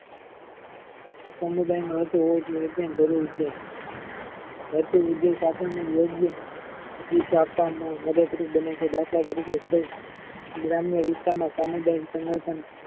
સમુદાયનો હેતુ હોવો જોઈયે તેમ જરુરી છે. હેતુ ઉદેશ આપણને યોગ્ય દિશા આપવામાં મદદરૂપ બને છે. દાખલ તારીકે ગ્રામ્ય વિસ્તારના સામુદાયિક સંગઠન